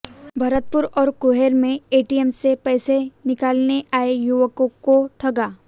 भरतपुर और कुम्हेर में एटीएम से पैसे निकालने आए युवकों को ठगा